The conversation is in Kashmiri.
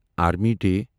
army day